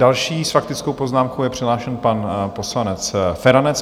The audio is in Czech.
Další s faktickou poznámkou je přihlášen pan poslanec Feranec.